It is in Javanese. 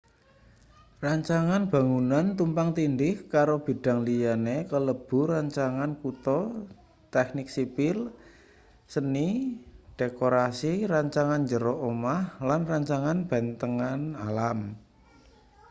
rancangan bangunan tumpang tindih karo bidang liyane kalebu rancangan kutha teknik sipil seni dekorasi rancangan njero omah lan rancangan bentang alam